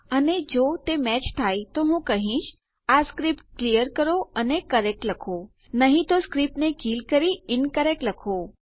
અને જો તે મેચ ન થાય તો હું કહીશ આ સ્ક્રીપ્ટ ક્લીયર કરો અને કરેક્ટ લખો નહી તો સ્ક્રીપ્ટને કીલ કરી ઇન્કરેક્ટ લખો